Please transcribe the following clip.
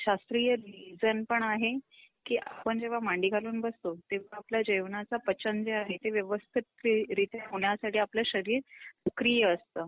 शास्त्रीय रिजन पण आहे कि आपण जेव्हा मांडीघालून बसतो तेव्हा आपल्या जेवणाचं पचन जे आहे ते व्यवस्थित रित्या होण्यासाठी आपलं शरीर सक्रिय असत.